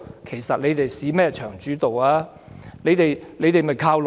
其實，何來"市場主導"呢？